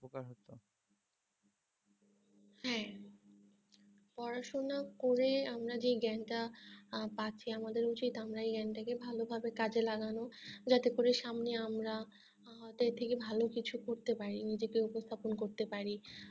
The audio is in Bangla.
হ্যাঁ পড়াশোনা করে আমরা যেই জ্ঞানটা পাচ্ছি আমাদের উচিত আমরা এই জ্ঞানটা কে ভালো ভাবে কাজে লাগানো যাতে করে সামনে আমরা আমাদের থেকে ভালো কিছু করতে পারি নিজেকে উপস্থাপন করতে পারি